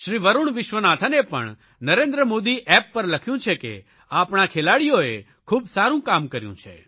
શ્રી વરૂણ વિશ્વનાથને પણ નરેન્દ્ર મોદી એપ પર લખ્યું છે કે આપણા ખેલાડીઓએ ખૂબ સારૂં કામ કર્યું છે